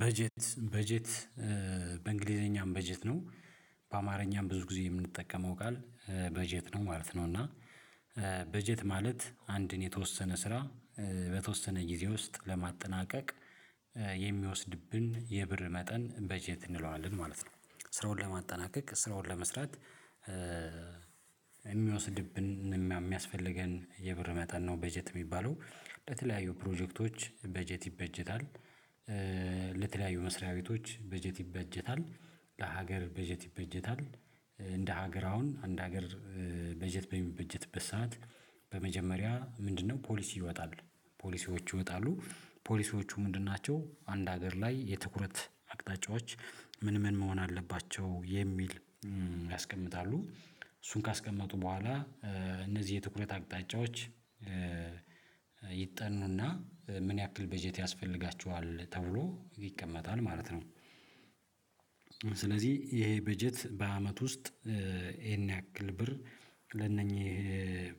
በጀት በጀት በእንግሊዘኛም በጀት ነው በአማርኛም ብዙ ጊዜ የምንጠቀመው ቃል በጀት ነው ማለት ነው። እና በጀት ማለት አንድን የተወሰነ ስራ በተወሰነ ጊዜ ውስጥ ለማጠናቀቅ የሚወስድብን የብር መጠን በጀት እንለዋለን ማለት ነው። ስራውን ለማጠናቀቅ ስራውን ለመስራት የሚወስድብን የሚያስፈልገን የብር መጠን ነው በጀት የሚባለው በተለያዩ ፕሮጀክቶች በጀት ይበጀታል። ለተለያዩ መስሪያ ቤቶች በጀት ይበጀታል። ለሀገር በጀት ይበጀታል። ሀገር አሁን አንደ ሀገር በጀት በሚበጀትበት ሰዓት በመጀመሪያ ምንድነው? ፖሊስ ይወጣል ፖሊሲዎች ይወጣሉ ፖሊሲዎቹ ምንድን ናቸው አንድ ሀገር ላይ የትኩረት አቅጣጫዎች ምን ምን መሆን አለባቸው የሚል ያስቀምጣሉ። እሱን ካስቀመጡ በኋላ እነዚህ የትኩረት አቅጣጫዎች ይጠኑና ምን ያክል በጀት ያስፈልጋቸዋል ተብሎ ይቀመጣል ማለት ነው። ስለዚህ ይሄ በጀት በአመት ውስጥ ይሄን ያክል ብር ለእነኚህ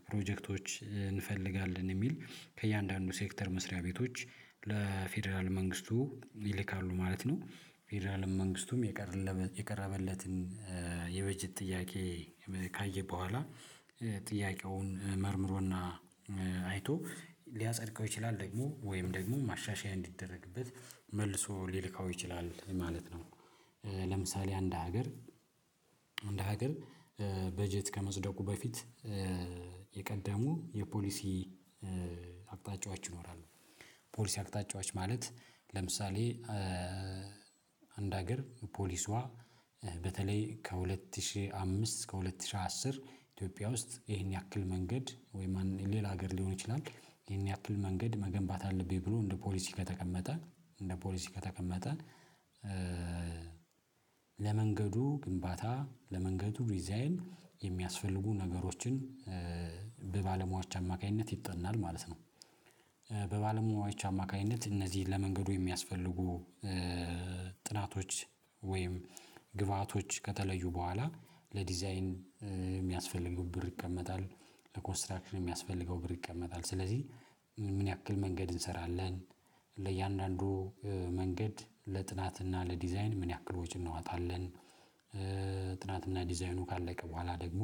ፕሮጀክቶች እንፈልጋለን የሚል ከእያንዳንዱ ሴክተር መስሪያ ቤቶች ለፌደራል መንግስቱ ይልካሉ ማለት ነው። ፌደራል መንግስቱም የቀረበለትን የበጀት ጥያቄ ካየ በኋላ ጥያቄውን መርምሮና አይቶ ሊያጸድቀው ይችላል ደግሞ ወይም ደግሞ ማሻሻያ እንዲደረግበት መልሶ ሊልከው ይችላል ማለት ነው። ለምሳሌ አንድ ሀገር አንድ ሀገር በጀት ከመጽደቁ በፊት የቀደሙ የፖሊሲ አቅጣጫዎች ይኖራሉ። ፖሊሲ አቅጣጫዎች ማለት ለምሳሌ አንድ ሀገር ፖሊሷ በተለይ ከሁለት ሺህ አምስት እስከ ሁለት ሺህ አስር ኢትዮጵያ ውስጥ ይሄን ያክል መንገድ ወይም ሌላ ሀገር ሊሆን ይችላል። ይሄን ያክል መንገድ መገንባት አለብኝ ብሎ እንደ ፖሊሲ ከተቀመጠ እንደ ፖሊሲ ከተቀመጠ ለመንገዱ ግንባታ ለመንገዱ ዲዛይን የሚያስፈልጉ ነገሮችን በባለሙያዎች አማካኝነት ይጠናል ማለት ነው። በባለሙያዎች አማካኝነት እነዚህን ለመንገዱ የሚያስፈልጉ ጥናቶች ወይም ግብአቶች ከተለዩ በኋላ ለዲዛይን የሚያስፈልጉት ብር ይቀመጣል። ለኮንስትራክሽን የሚያስፈልገው ብር ይቀመጣል። ስለዚህ ምን ያክል መንገድ እንሰራለን ለእያንዳንዱ መንገድ ለጥናትና ለዲዛይን ምን ያክል ወጪ እንወጣለን። ጥናትና ዲዛይኑ ካለቀ በኋላ ደግሞ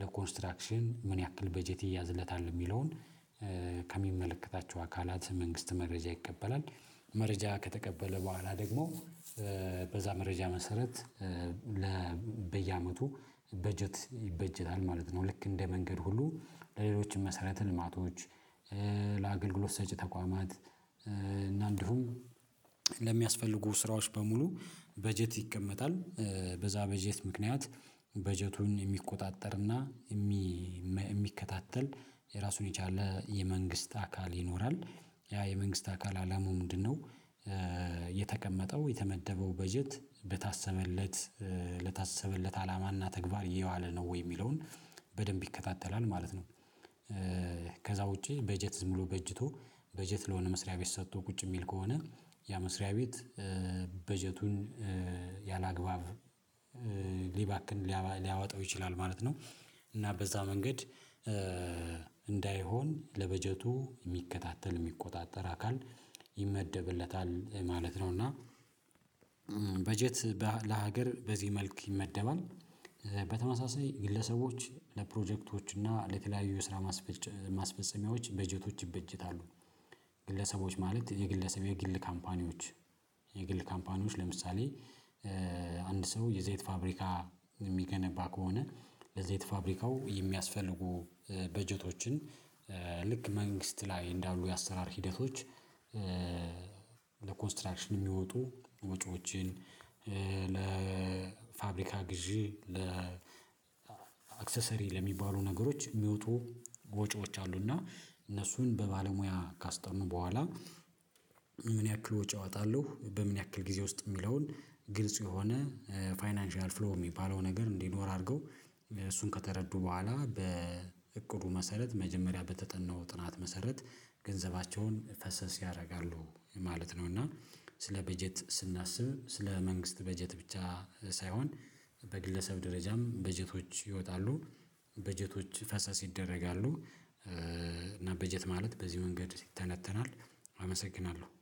ለኮንስትራክሽን ምን ያክል በጀት ይያዝለታል የሚለውን ከሚመለከታቸው አካላት መንግስት መረጃ ይቀበላል። መረጃ ከተቀበለ በኋላ ደግሞ በዛ መረጃ መሰረት ለ በየአመቱ በጀት ይበጀታል ማለት ነው። ልክ እንደ መንገድ ሁሉ ለሌሎችም መሰረት ልማቶች ለአገልግሎት ሰጪ ተቋማት እና እንዲሁም ለሚያስፈልጉ ስራዎች በሙሉ በጀት ይቀመጣል። በዛ በጀት ምክንያት በጀቱን የሚቆጣጠርና የሚከታተል የራሱን የቻለ የመንግስት አካል ይኖራል። ያ የመንግስት አካል አላማው ምንድነው? የተቀመጠው የተመደበው በጀት በታሰበለት ለታሰበለት አላማና ተግባር የዋለ ነው ወይ የሚለውን በደንብ ይከታተላል ማለት ነው። ከዛ ውጪ በጀት ዝም ብሎ በጅቶ በጀት ለሆነ መስሪያ ቤት ሰጥቶ ቁጭ የሚል ከሆነ ያ መስሪያ ቤት በጀቱን ያላግባብ ሊባክን ሊያወጣው ይችላል ማለት ነው። እና በዛ መንገድ እንዳይሆን ለበጀቱ የሚከታተል የሚቆጣጠር አካል ይመደብለታል ማለት ነው። እና በጀት ለሀገር በዚህ መልክ ይመደባል። በተመሳሳይ ግለሰቦች ለፕሮጀክቶች እና ለተለያዩ ስራ ማስፈጸሚያዎች በጀቶች ይበጀታሉ። ግለሰቦች ማለት የግለሰብ የግል ካምፓኒዎች የግል ካምፓኒዎች ለምሳሌ አንድ ሰው የዘይት ፋብሪካ የሚገነባ ከሆነ ለዘይት ፋብሪካው የሚያስፈልጉ በጀቶችን ልክ መንግስት ላይ እንዳሉ የአሰራር ሂደቶች ለኮንስትራክሽን የሚወጡ ወጪዎችን ለ ለፋብሪካ ግዢ ለአክሰሰሪ ለሚሆኑ ነገሮች የሚወጡ ወጪዎች አሉና እነሱን በባለሙያ ካስጠኑ በኋላ ምን ያክል ወጪ እወጣለሁ በምን ያክል ጊዜ ውስጥ የሚለውን ግልጽ የሆነ ፋይናንሻል ፍሎ የሚባለው ነገር እንዲኖር አድርገው እሱን ከተረዱ በኋላ በእቅዱ መሰረት መጀመሪያ በተጠናው ጥናት መሰረት ፈሰስ ያደርጋሉ ማለት ነው። እና ስለ በጀት ስናስብ ስለ መንግስት በጀት ብቻ ሳይሆን በግለሰብ ደረጃም በጀቶች ይወጣሉ። በጀቶች ፈሰስ ይደረጋሉ። እና በጀት ማለት በዚህ መንገድ ይተነተናል። አመሰግናለሁ